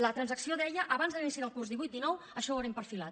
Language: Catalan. la transacció deia abans de l’inici del curs divuit dinou això ho haurem perfilat